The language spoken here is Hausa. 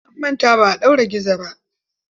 An manta ba a ɗaure gizo ba.